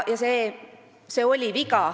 See oli viga.